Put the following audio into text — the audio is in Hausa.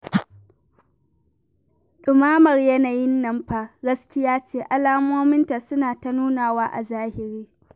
Ɗumamar yanayin nan fa gaskiya ce, alamominta suna ta nunawa a zahiri